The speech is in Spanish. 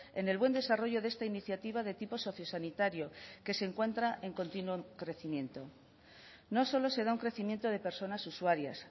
en el buen desarrollo de esta iniciativa de tipo socisanitario que se encuentra en continuo crecimiento no solo se da un crecimiento de personas usuarias